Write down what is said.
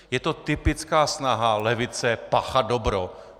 Je to typická snaha levice páchat dobro.